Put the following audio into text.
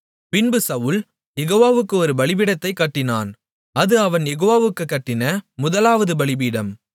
பின்பு சவுல் யெகோவாவுக்கு ஒரு பலிபீடத்தைக் கட்டினான் அது அவன் யெகோவாவுக்குக் கட்டின முதலாவது பலிபீடம்